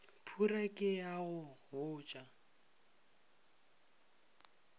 phura ke a go botša